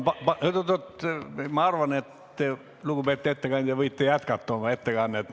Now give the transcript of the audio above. Ma arvan, lugupeetud ettekandja, et te võite oma ettekannet jätkata.